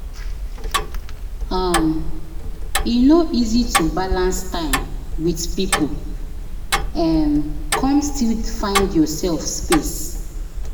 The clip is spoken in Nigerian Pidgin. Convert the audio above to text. um E no easy to balance time with people um come still find yourself space.